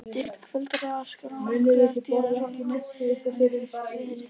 Þykkt hvilftar- eða skálarjökla er tíðum svo lítil að lítið skrið er í þeim.